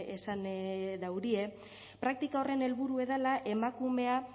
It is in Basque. esan daurie praktika horren helburua dela emakumea